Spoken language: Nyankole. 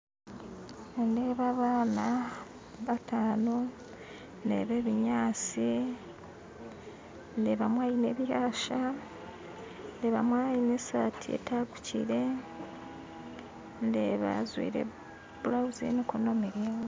Nindeeba abaana bataano ndeeba ebinyaatsi ndeebamu aine ebyasha ndeebamu aine esaati etaguukire ndeeba ajwire bulauzi y'emikono miraingwa